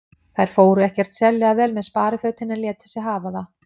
Þær fóru ekkert sérlega vel með sparifötin en létu sig hafa það.